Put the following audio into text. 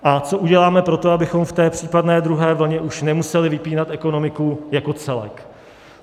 A co uděláme pro to, abychom v té případné druhé vlně už nemuseli vypínat ekonomiku jako celek?